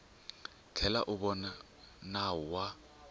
tlhela u vona nawu wa